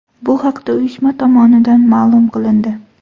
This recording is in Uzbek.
Bu haqda uyushma tomonidan ma’lum qilindi .